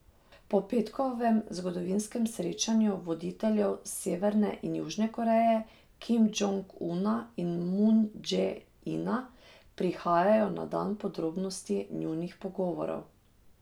Po petkovem zgodovinskem srečanju voditeljev Severne in Južne Koreje, Kim Džong Una in Mun Dže Ina, prihajajo na dan podrobnosti njunih pogovorov.